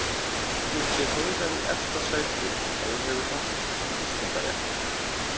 Hefðir þú sett Heiðar í efsta sæti ef þú hefðir haft kosningarétt?